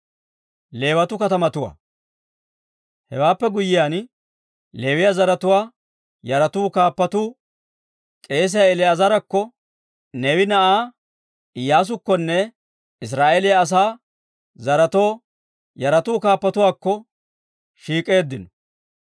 Hewaappe guyyiyaan Leewiyaa zaratuwaa yaratuu kaappatuu k'eesiyaa El"aazaarakko, Neewe na'aa Iyyaasukkonne Israa'eeliyaa asaa zaretoo yaratuu kaappatuwaakko shiik'eeddino.